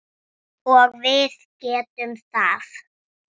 Og við getum það.